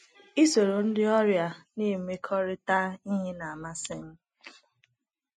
Isoro ndị ọrịa na - emekọrịta ihe na - amasị m. ”